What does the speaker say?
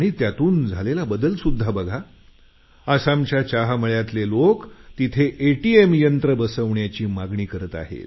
त्यातून झालेला बदलसुध्दा बघा आसामच्या चहामळ्यातले लोक तिथे एटीएम यंत्र बसवण्याची मागणी करत आहेत